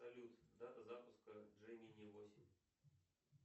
салют дата запуска джемини восемь